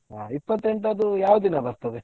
ಇಪ್ಪತೆಂಟು ಅದು ಯಾವ ದಿನ ಬರ್ತದೆ?